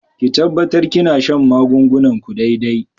Ki tabbatar kina shan magungunan ku daidai.